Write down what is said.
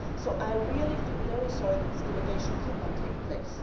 So I really feel very sorry that this delegation visit could not take place.